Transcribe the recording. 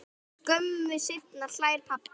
Skömmu seinna hlær pabbi.